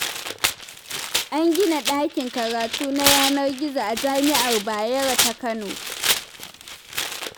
An gina ɗakin karatu na yanar gizo a jami'ar Bayero ta Kano.